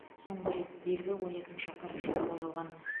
соңғы рет белгі он екінші қарашада қойылған